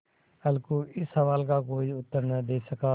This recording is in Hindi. अलगू इस सवाल का कोई उत्तर न दे सका